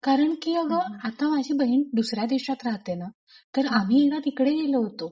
कारण की अगं आता माझी बहीण दुसऱ्या देशात राहते ना तर आम्ही ना तिकडे गेलो होतो.